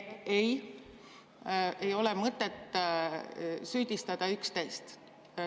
Ei, ei ole mõtet süüdistada üksteist.